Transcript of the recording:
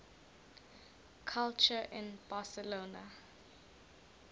culture in barcelona